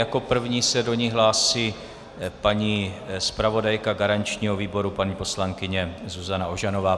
Jako první se do ní hlásí paní zpravodajka garančního výboru paní poslankyně Zuzana Ožanová.